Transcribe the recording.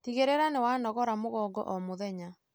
Tigĩrĩra nĩ wanogora mũgongo o mũthenya.